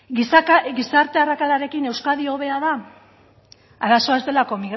gizarte arrakalarekin euskadi hobea da arazoa ez delako